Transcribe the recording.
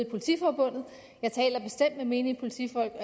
politiforbundet jeg taler bestemt med menige politifolk og